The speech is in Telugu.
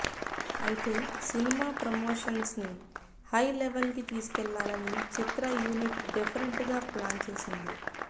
అయితే సినిమా ప్రమోషన్స్ ని హై లెవెల్ కి తీసుకెళ్లాలని చిత్ర యూనిట్ డిఫెరెంట్ గా ప్లాన్ చేసింది